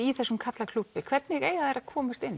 í þessum karlaklúbbi hvernig eiga þær að komast inn